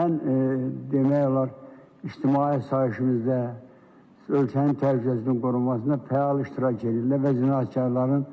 Ən demək olar ictimai işimizdə ölkənin təhlükəsizliyini qorunmasında fəal iştirak edirlər və cinayətkarların